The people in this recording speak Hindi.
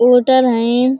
होटल हयें ।